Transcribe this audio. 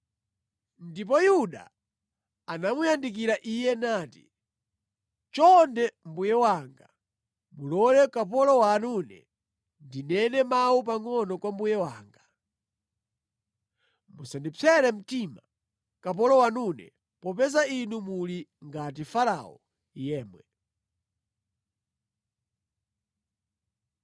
Ndipo Yuda anamuyandikira iye nati, “Chonde mbuye wanga mulole kapolo wanune ndinene mawu pangʼono kwa mbuye wanga. Musandipsere mtima, kapolo wanune, popeza inu muli ngati Farao yemwe.